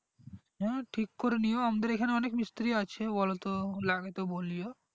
হ্যা ঠিক করে নিও আমাদের এখানে অনেক মিস্ত্রী আছে বলো তো লাগে তো বলিও